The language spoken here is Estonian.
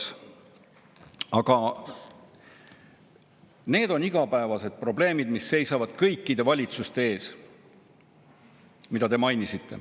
Need, mida te mainisite, on igapäevased probleemid, mis seisavad kõikide valitsuste ees.